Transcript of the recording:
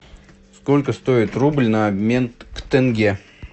сколько стоит рубль на обмен к тенге